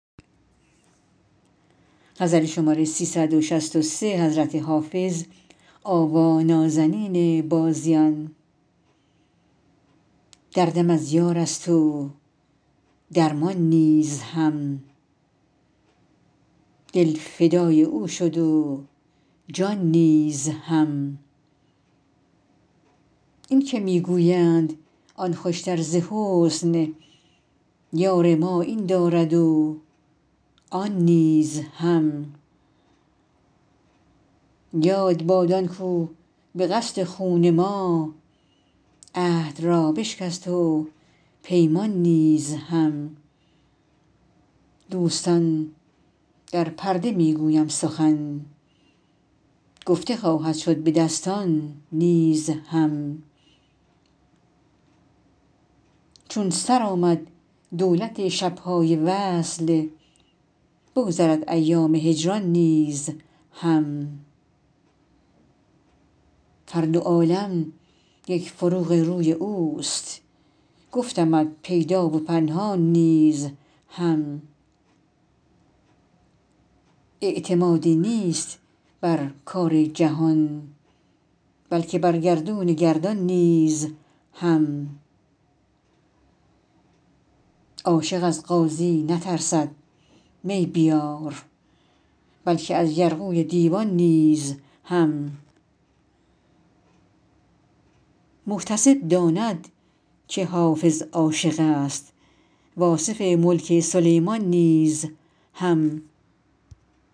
دردم از یار است و درمان نیز هم دل فدای او شد و جان نیز هم این که می گویند آن خوشتر ز حسن یار ما این دارد و آن نیز هم یاد باد آن کاو به قصد خون ما عهد را بشکست و پیمان نیز هم دوستان در پرده می گویم سخن گفته خواهد شد به دستان نیز هم چون سر آمد دولت شب های وصل بگذرد ایام هجران نیز هم هر دو عالم یک فروغ روی اوست گفتمت پیدا و پنهان نیز هم اعتمادی نیست بر کار جهان بلکه بر گردون گردان نیز هم عاشق از قاضی نترسد می بیار بلکه از یرغوی دیوان نیز هم محتسب داند که حافظ عاشق است و آصف ملک سلیمان نیز هم